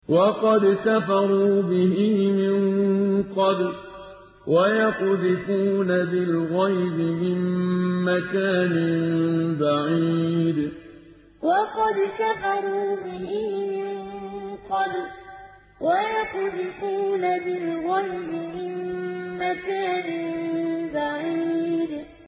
وَقَدْ كَفَرُوا بِهِ مِن قَبْلُ ۖ وَيَقْذِفُونَ بِالْغَيْبِ مِن مَّكَانٍ بَعِيدٍ وَقَدْ كَفَرُوا بِهِ مِن قَبْلُ ۖ وَيَقْذِفُونَ بِالْغَيْبِ مِن مَّكَانٍ بَعِيدٍ